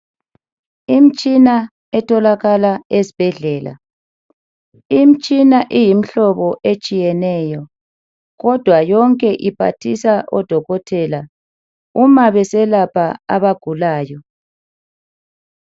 Imitshina etholakala ezibhedlela , imitshina iyimhlobo etshiyeneyo kodwa yonke iphathisa odokotela uma beselapha abagulayo .